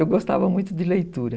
Eu gostava muito de leitura.